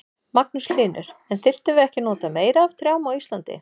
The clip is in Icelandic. Magnús Hlynur: En þyrftum við ekki að nota meira af trjám á Íslandi?